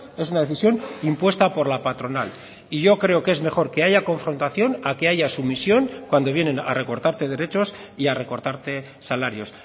es una decisión impuesta por la patronal y yo creo que es mejor que haya confrontación a que haya sumisión cuando vienen a recortarte derechos y a recortarte salarios